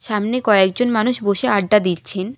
সামনে কয়েকজন মানুষ বসে আড্ডা দিচ্ছেন।